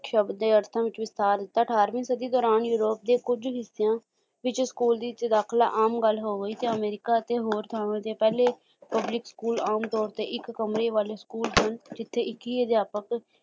ਸਬਦ ਦੇ ਅਰਥਾਂ ਵਿੱਚ ਵਿਸਥਾਰ ਦਿੱਤਾ ਅਠਾਰਵੀਂ ਸਦੀ ਦੌਰਾਨ ਯੂਰੋਪ ਦੇ ਕੁੱਝ ਹਿੱਸਿਆਂ ਵਿੱਚ school ਦੇ ਵਿੱਚ ਦਾਖਲਾ ਆਮ ਗੱਲ ਹੋ ਗਈ ਤੇ ਤੇ ਅਮੇਰਿਕਾ ਤੇ ਹੋਰ ਥਾਵਾਂ ਦੇ ਪਹਿਲੇ public school ਆਮ ਤੋਰ ਏ ਇੱਕ ਕਮਰੇ ਵਾਲੇ ਸਕੂਲ ਸਨ ਜਿੱਥੇ ਇੱਕ ਹੀ ਅਧਿਆਪਕ